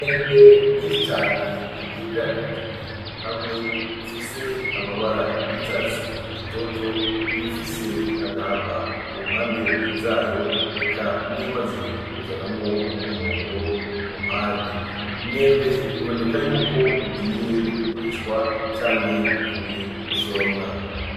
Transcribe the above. Imyembe myinshi cane yegeranirijwe hamwe ifise amabara y’icatsi gitoto, iyifise agahama ku mpande zayo eka n’iyimaze kuzanamwo umuhondo ku mpande . Imyembe iboneka yuko igiye kugurishwa canke ivuye gusoromwa.